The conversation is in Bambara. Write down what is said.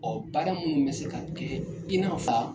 Ɔ baara minnu bɛ se ka kɛ i nafa.